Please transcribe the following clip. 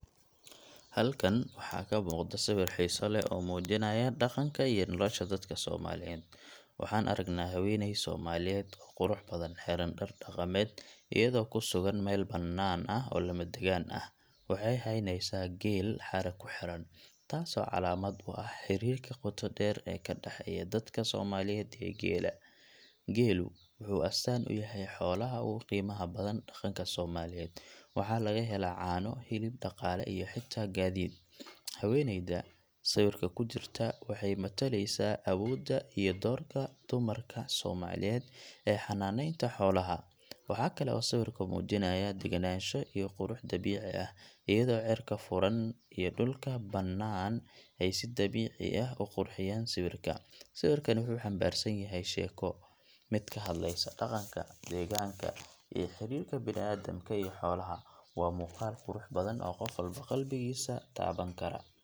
Halkan waxaa ka muuqda sawir xiiso leh oo muujinaya dhaqanka iyo nolosha dadka Soomaaliyeed. Waxaan aragnaa haweeney Soomaaliyeed oo qurux badan, xiran dhar dhaqameed, iyadoo ku sugan meel bannaan oo lamadegaan ah. Waxay haynaysaa geel xarig ku xiran taasoo calaamad u ah xiriirka qoto dheer ee ka dhaxeeya dadka Soomaaliyeed iyo geela. Geelu wuxuu astaan u yahay xoolaha ugu qiimaha badan dhaqanka Soomaaliyeed; waxaa laga helaa caano, hilib, dhaqaale iyo xitaa gaadiid. Haweeneyda sawirka ku jirta waxay matalaysaa awoodda iyo doorka dumarka Soomaaliyeed ee xanaaneynta xoolaha. Waxaa kale oo sawirku muujinayaa degenaansho iyo qurux dabiici ah, iyadoo cirka furan iyo dhulka bannaan ay si dabiici ah u qurxiyaan sawirka. Sawirkani wuxuu xambaarsan yahay sheeko: mid ka hadlaysa dhaqanka, degaanka, iyo xiriirka bini’aadamka iyo xoolaha. Waa muuqaal qurux badan oo qof walba qalbigiisa taaban kara.